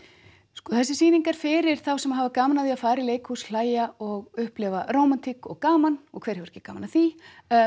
sko þessi sýning er fyrir þá sem hafa gaman af því að fara í leikhús hlæja og upplifa rómantík og gaman og hver hefur ekki gaman af því